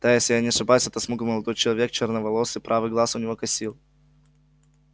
да если я не ошибаюсь это смуглый молодой человек черноволосый правый глаз у него косил